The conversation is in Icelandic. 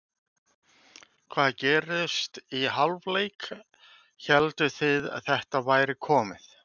Hvað gerðist í hálfleik, hélduð þið að þetta væri komið?